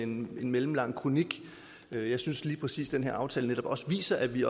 mellemlange kronik jeg synes lige præcis at den her aftale også viser at vi